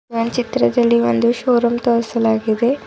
ಒಂದ್ ಚಿತ್ರದಲ್ಲಿ ಒಂದು ಷೋರೂಮ್ ತೋರಿಸಲಾಗಿದೆ.